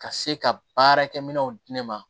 Ka se ka baarakɛminɛnw di ne ma